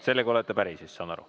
Sellega olete päri siis, saan aru.